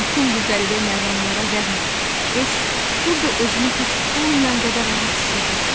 Bütün bu qəribə məqamlara rəğmən, S burda özünü heç olmayan qədər rahat hiss edirdi.